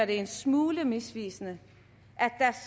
det en smule misvisende